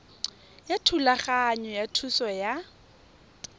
ya thulaganyo ya thuso ya